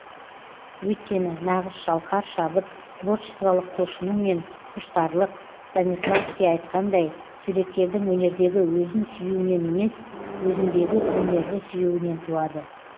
өйткені нағызшалқар шабыт творчестволық құлшыну мен құштарлық станиславский айтқандай суреткердің өнердегі өзін сүюінен емес өзіндегі өнерді сүюінен туады